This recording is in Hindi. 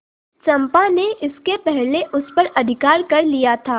चंपा ने इसके पहले उस पर अधिकार कर लिया था